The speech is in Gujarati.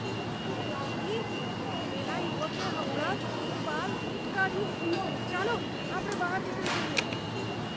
છી! પેલા યુવકે હમણાં જ પૂલમાં લીંટ કાઢ્યું. ચાલો આપણે બહાર નીકળી જઈએ.